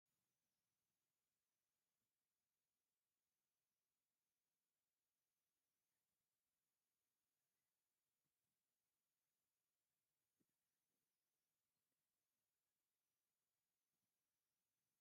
ኣብ ከተማ ሽረ ካብ ዝርከቡ ሓወልትታት እቲ ሓደ ሓወልቲ መጀር ጀነራል ሓየሎም ኣርኣያ እዩ። እዚ መጀር ጀነራል ኣብ ታሪክ ትግራይ ዕዙዝ ተሳትፎ ካብ ዝረነሮም እቲ ሓደ እዩ ነይሩ።